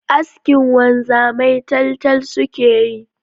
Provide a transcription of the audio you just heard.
Askin wanzamai taltal suke yi